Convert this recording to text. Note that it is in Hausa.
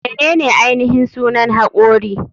Menene ainihin sunan hakori?